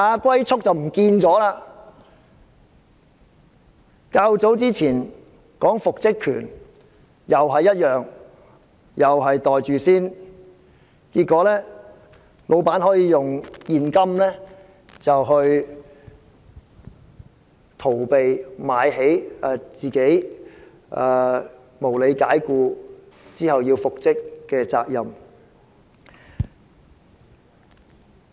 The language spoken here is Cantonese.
較早時候曾討論的復職權亦如是，市民同樣要"袋住先"，結果老闆可以用現金"買起"准許被無理解僱的顧員復職的責任。